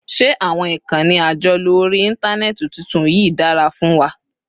Ṣé àwọn ìkànnì àjọlò orí Íńtánẹ́ẹ̀tì tuntun yìí dára fún wa?